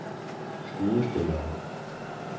skuespillere